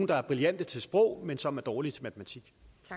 der er brillante til sprog men som er dårlige til matematik